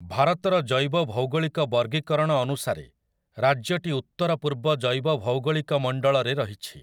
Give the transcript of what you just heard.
ଭାରତର ଜୈବଭୌଗୋଳିକ ବର୍ଗୀକରଣ ଅନୁସାରେ, ରାଜ୍ୟଟି ଉତ୍ତରପୂର୍ବ ଜୈବଭୌଗୋଳିକ ମଣ୍ଡଳରେ ରହିଛି ।